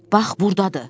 Bax burdadır.